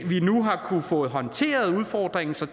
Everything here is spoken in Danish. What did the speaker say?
vi nu har fået håndteret udfordringen så